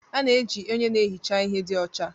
A na-eji onye na-ehicha ihe dị ọcha